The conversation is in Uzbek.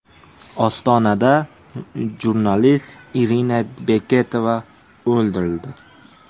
Ostonada jurnalist Irina Beketova o‘ldirildi.